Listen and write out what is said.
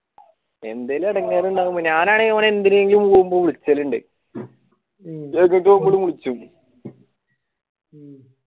എന്തേലും എടങ്ങാറ് ഇണ്ടാകുമ്പോ ഞാൻ ആണേൽ മുമ്പ് വിൽചെലിണ്ട് വിളിച്ചു